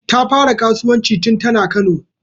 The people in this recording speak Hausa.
Ta fara kasuwanci tun tana Kano